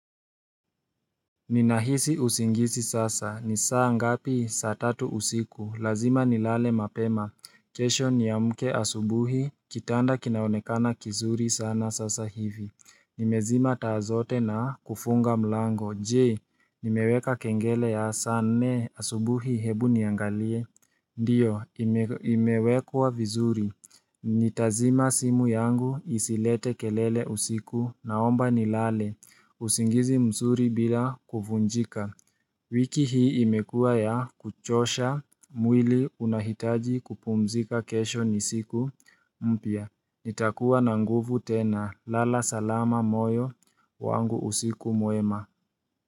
Ninahisi usingizi sasa, ni saa ngapi? Saa tatu usiku, lazima nilale mapema kesho niamke asubuhi, kitanda kinaonekana kizuri sana sasa hivi. Nimezima taa zote na kufunga mlango, je, nimeweka kengele ya saa nne asubuhi hebu niangalie Ndiyo, imewekwa vizuri. Nitazima simu yangu, isilete kelele usiku, naomba nilale usingizi mzuri bila kuvunjika wiki hii imekuwa ya kuchosha mwili unahitaji kupumzika kesho ni siku mpya nitakuwa na nguvu tena lala salama moyo wangu usiku mwema.